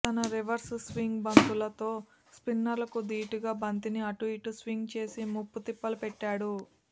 తన reverse swing బంతులతో స్పిన్నర్లకు ధీటుగా బంతిని అటూ ఇటూ స్వింగ్ చేసి ముప్పు తిప్పలు పెట్టాడు